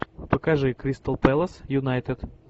покажи кристал пэлас юнайтед